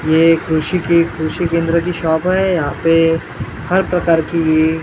यह एक कृषि की कृषि केंद्र की शॉप है यहाँ पे हर प्रकार की --